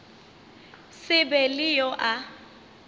se be le yo a